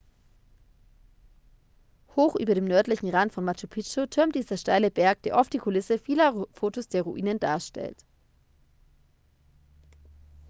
hoch über dem nördlichen rand von machu picchu türmt dieser steile berg der oft die kulisse vieler fotos der ruinen darstellt